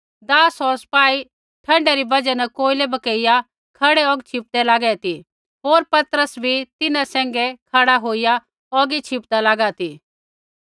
दास होर सपाई ठण्डै री बजहा न कोयलै भकेईया खड़ै औग छिपदै लागै ती होर पतरस भी तिन्हां सैंघै खड़ा औगी छिपदा लागा ती